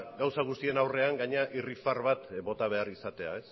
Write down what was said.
gauza guztien aurrean gainera irribarre bat bota behar izatea